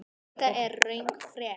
Þetta er röng frétt.